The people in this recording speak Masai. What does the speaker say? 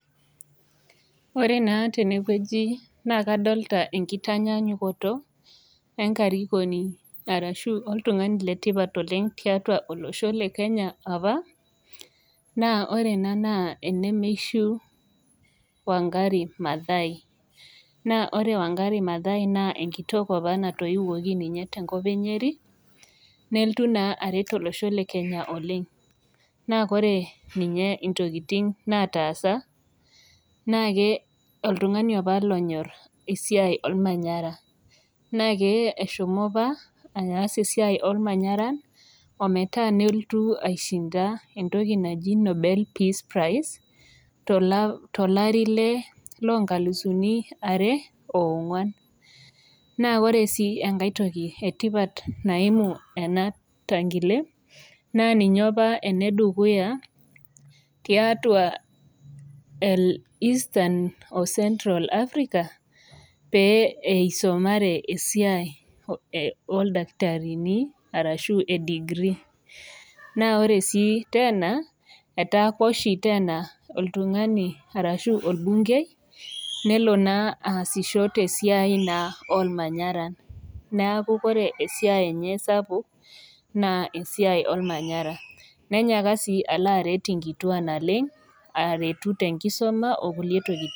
Ore naa tenewueji na kadolta enkitanyanyukoto enkarikoni arashu oltung'ani letipat oleng tiatua olosho le kenya apa naa ore ena naa ene meishu Wangari mathaai naa ore Wangari mathaai naa enkitok opa natoiwuoki ninye tenkop e nyeri neltu naa aret olosho le kenya oleng naa kore ninye intokiting nataasa naake oltung'ani apa lonyorr esiai olmanyara naake eshomo apa aas esiai olmanyara ometaa neltu aishinda entoki naji nobel peace prize tola tolari le lonkalisuni are ong'uan naa kore sii enkae toki etipat naimu ena tankile naa ninye opa enedukuya tiatua el eastern o [cs[central africa pee eisomare esiai e oldakitarini arashu e degree naa ore sii tena etaakua oshi tena oltung'ani arashu olbungei nelo naa aasisho tesiai naa olmanyara naaku kore esiai enye sapuk naa esiai olmanyara nenyaaka sii alo aret inkitua naleng aretu tenkisuma okulie tokiting.